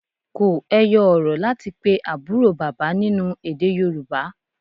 Kò ẹyọ-ọ̀rọ̀ láti pe àbúrò bàbá nínú èdè Yorùbá.